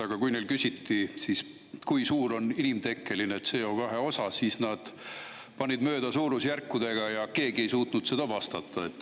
Aga kui neilt küsiti, kui suur on inimtekkeline CO2 osa, siis panid nad suurusjärkudega mööda ja keegi ei suutnud sellele vastata.